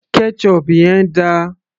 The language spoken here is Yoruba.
ketchup yẹn dà